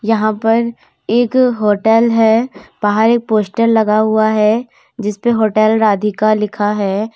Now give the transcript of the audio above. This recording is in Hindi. यहां पर एक होटल है। बाहर एक पोस्टर लगा हुआ है जिसपे होटल राधिका लिखा है।